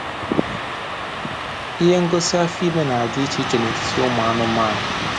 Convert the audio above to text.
Ihe ngosi afọ ime na-adị iche iche n'etiti ụmụ anụmanụ